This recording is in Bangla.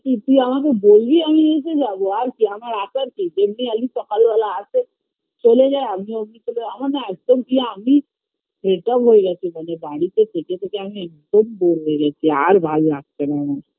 তুই তুই আমাকে বলবি আমি এসে যাবো আর কি আমার আসার কি যেমনি আমি সকালবেলায় আসি চলে যাই আমিও বিকেলবে আমার না একদম কি আমি fade up হয়ে গেছি মানে বাড়িতে থেকে থেকে আমি একদম Bore হয়ে গেছি আর ভাললাগছেনা আমার